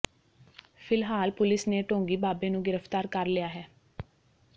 ਫਿਲਹਾਲ ਪੁਲਿਸ ਨੇ ਢੋਂਗੀ ਬਾਬੇ ਨੂੰ ਗ੍ਰਿਫਤਾਰ ਕਰ ਲਿਆ ਹੈ